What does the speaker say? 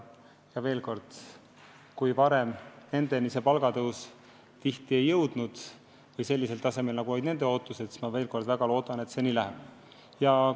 Ja kui varem palgatõus nendeni tihti ei jõudnud või ei jõudnud sellisel määral, kui nad oodanud olid, siis ma väga loodan, et seekord läheb teisiti.